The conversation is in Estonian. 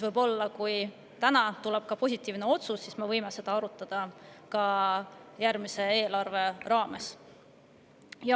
Kui täna tuleb positiivne otsus, siis me võime seda võib-olla arutada järgmise eelarve raames.